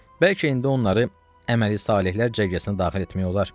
Bəlkə indi onları əməli salehlər cərgəsinə daxil etmək olar.